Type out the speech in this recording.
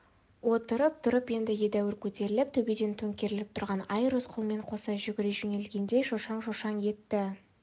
отырып тұрып енді едәуір көтеріліп төбеден төңкеріліп тұрған ай рысқұлмен қоса жүгіре жөнелгендей шошаң-шошаң етті